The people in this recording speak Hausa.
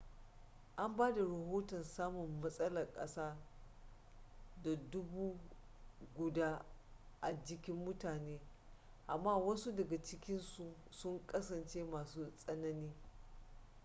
an ba da rahoton samun matsalan kasa da dubu guda a jikin mutane amma wasu daga ciki sun kasance masu tsanani